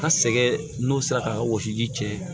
A sɛgɛn n'o sera ka wɔsiji cɛ